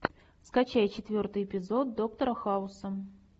скачай четвертый эпизод доктора хауса